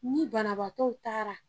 Ni banabagatɔ taara